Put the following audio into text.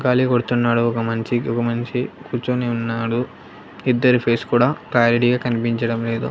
కాళీ కొడుతున్నాడు ఒక మంచి ఒక మనిషి కూర్చొని ఉన్నాడు ఇద్దరి ఫేస్ కూడా క్లారిటీగా కనిపించడం లేదు.